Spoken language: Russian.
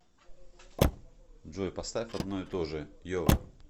джой поставь одно и то же йова